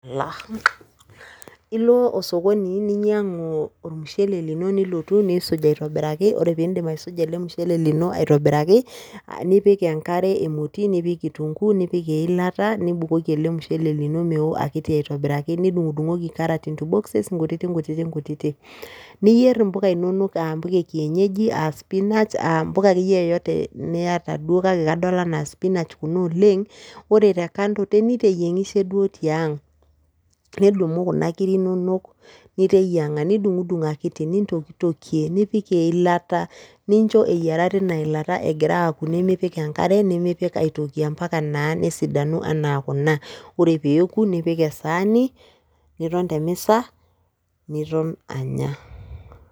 Ilo osokoni ninyang'u ormushele lino nilotu nisuj aitobiraki, ore pidip aisuja ele mushele lino aitobiraki, nipik enkare emoti, nipik kitunkuu, nipik eilata, nibukoki ele mushele lino meo akiti aitobiraki, nidung'dung'oki carrots into boxes nkutiti nkutiti nkutiti. Niyier impuka inonok ah mpuka e kienyeji ah spinach, ah mpuka akeyie yoyote niata duo kake kadol anaa spinach kuna oleng, ore te kando niteyieng'ishe duo tiang'. Nidumu kuna kiri inonok niteyiang'a. Nidung'dung akiti, nintokitokie, nipik eilata nincho eyiara tina ilata egira aku nimipik enkare, nimipik aitoki, ampaka naa nesidanu anaa kuna. Ore peoku nipik esaani, niton temisa, niton anya.